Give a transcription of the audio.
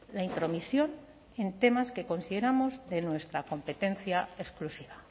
la intromisión en temas que consideramos de nuestra competencia exclusiva